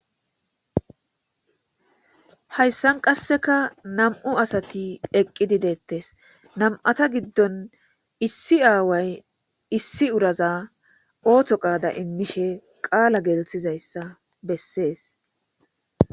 Hayissan qasseka nam"u asati eqidi detes nam"ata gidon issi away issinas oththo qaada imishshe dizayissa besses